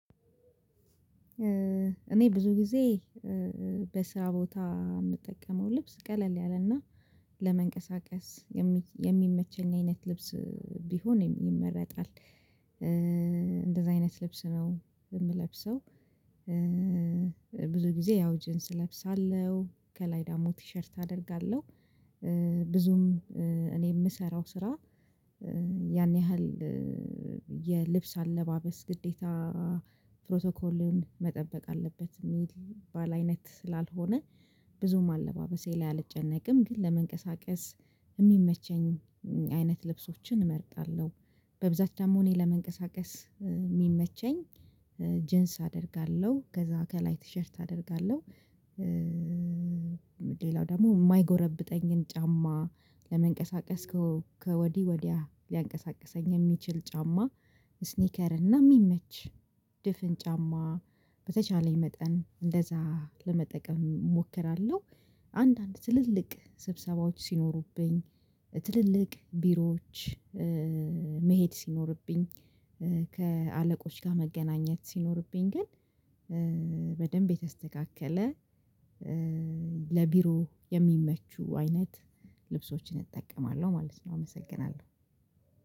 እኔ ብዙ ጊዜ በስራ ቦታ የምጠቀመው ልብስ ቀለል ያለና ለመንቀሳቀስ የሚመቸኝ አይነት ልብስ ቢሆን ይመረጣል ኢንደዛ አይነት ልብስ ነው የምለብሰው። ብዙ ጊዜ ያው ጅንስ እለብሳለሁ ከላይ ደግሞ ቲሸርት አደርጋለሁ። ብዙም እኔ የምሰራው ስራ ያን ያህል የልብስ አለባበስ ግዴታ ፕሮቶኮልን መጠበቅ አለበት የሚል ባል አይነት ስላልሆነ ብዙም አለባበሴ ላይ አልጨነቅም። ግን ለመንቀሳቀስ የሚመቸኝ አይነት ልብሶችን እመርጣለሁ። በብዛት ደግሞ እኔ ለመንቀሳቀስ የሚመቸኝ ጅንስ አደርጋለሁ ከዛ ከላይ ቲሸርት አደርጋለሁ። ሌላው ደግሞ የማይጎረብጠኝን ጫማ ለመንቀሳቀስ ከወዲ ወዲያ ሊያንቀሳቅሰኝ የሚችል ጫማ ስኒከር እና የሚመች ድፍን ጫማ በተቻለኝ መጠን እንደዛ ለመጠቀም እሞክራለሁ። አንዳንድ ትልልቅ ስብሰባዎች ሲኖሩብኝ ትልልቅ ቢሮዎች መሄድ ሲኖርብኝ ከአለቆች ጋር መገናኘት ሲኖርብኝ ግን በደንብ የተስተካከለ ለቢሮ የሚመቹ አይነት ልብሶችን እጠቀማለሁ ማለት ነው። አመሰግናለሁ።